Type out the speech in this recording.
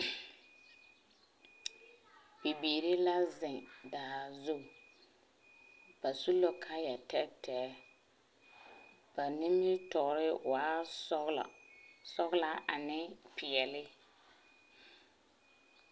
Bibiiri la zeŋ daa zu. Ba su la kaaya-tɛɛtɛɛ. Ba nimitɔɔre waa sɔgela, sɔgelaa ane peɛle.